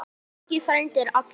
Böggi frændi er allur.